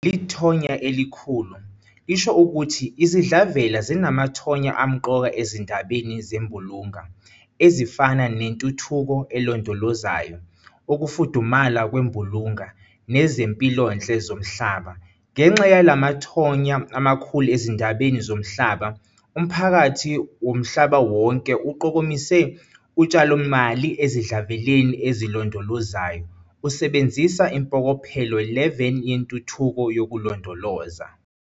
Leli thonya elikhulu lisho ukuthi izidlavela zinamathonya amqoka ezindabeni zembulunga, ezifana neNtuthuko elondolozayo, ukufudumala kwembulunga, nezempilonhle zomhlaba. Ngenxa yalamathonya amakhulu ezindabeni zomhlaba, umphakathi womhlabawonke uqokomise utshalomali ezidlaveleni ezolondolozayo usebenzisa iMpokophelo 11 yeNtuthuko yokuLondoloza.